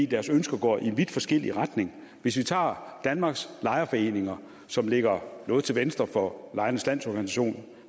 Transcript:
deres ønsker går i vidt forskellige retninger hvis vi tager danmarks lejerforeninger som ligger noget til venstre for lejernes lo